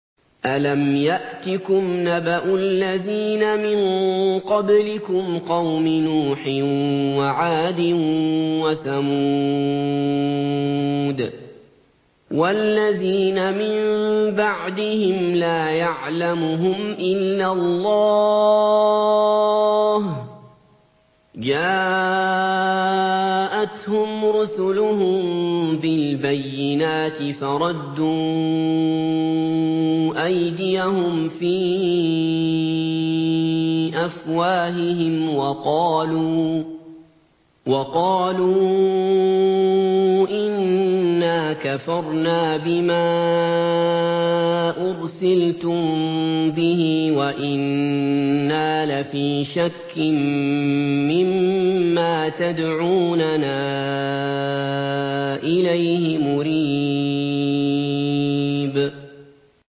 أَلَمْ يَأْتِكُمْ نَبَأُ الَّذِينَ مِن قَبْلِكُمْ قَوْمِ نُوحٍ وَعَادٍ وَثَمُودَ ۛ وَالَّذِينَ مِن بَعْدِهِمْ ۛ لَا يَعْلَمُهُمْ إِلَّا اللَّهُ ۚ جَاءَتْهُمْ رُسُلُهُم بِالْبَيِّنَاتِ فَرَدُّوا أَيْدِيَهُمْ فِي أَفْوَاهِهِمْ وَقَالُوا إِنَّا كَفَرْنَا بِمَا أُرْسِلْتُم بِهِ وَإِنَّا لَفِي شَكٍّ مِّمَّا تَدْعُونَنَا إِلَيْهِ مُرِيبٍ